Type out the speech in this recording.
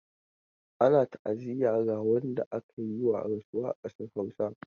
Ana ta'aziyya ga wanda aka yi wa rasuwa a ƙasar Hausa.